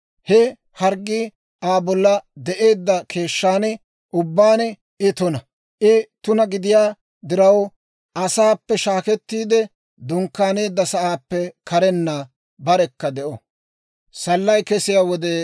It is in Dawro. He harggii Aa bolla de'eedda keeshshan ubbaan I tuna. I tuna gidiyaa diraw, asaappe shaakettiide dunkkaaneedda sa'aappe karenna barekka de'o.